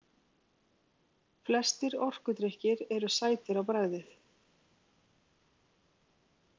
Flestir orkudrykkir eru sætir á bragðið.